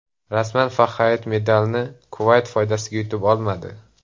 Rasman Fahaid medalni Kuvayt foydasiga yutib olmadi.